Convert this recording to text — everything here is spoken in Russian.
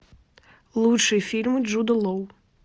лучшие фильмы джуда лоу